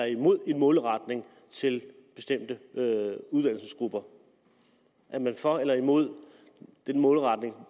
imod en målretning til bestemte uddannelsesgrupper er man for eller imod en målretning